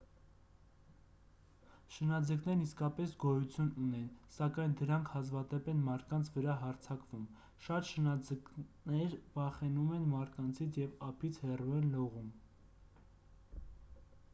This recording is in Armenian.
շնաձկներն իսկապես գոյություն ունեն սակայն դրանք հազվադեպ են մարդկանց վրա հարձակվում շատ շնաձկներ վախենում են մարդկանցից և ափից հեռու են լողում